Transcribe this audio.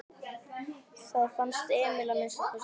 Það fannst Emil að minnsta kosti.